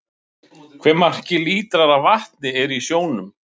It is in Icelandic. hve margir lítrar af vatni eru í sjónum